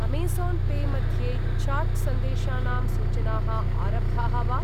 Amazon pay मध्ये chat सन्देशानां सूचनाः आरब्धाः वा?